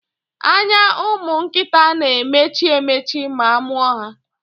Anya ụmụnkịta na-emechi emechi ma amụọ ha.